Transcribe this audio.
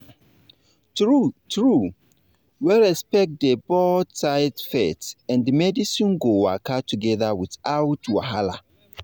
true true when respect dey both sides faith and medicine go waka together without wahala